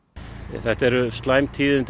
þetta eru slæm tíðindi